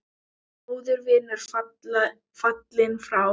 Góður vinur fallinn frá.